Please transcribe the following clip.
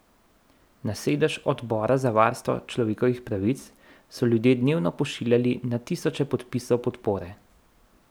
Na sedež Odbora za varstvo človekovih pravic so ljudje dnevno pošiljali na tisoče podpisov podpore.